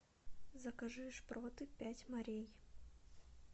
закажи шпроты пять морей